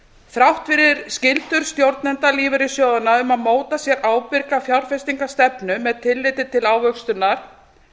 þrátt fyrir skyldur stjórnenda lífeyrissjóðanna um að móta sér ábyrga fjárfestingarstefnu með tilliti til ávöxtunar